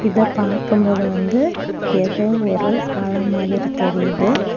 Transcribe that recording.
இத பார்க்கும்போது வந்து ஏதோ ஒரு பழம் மாதிரி தெரியுது.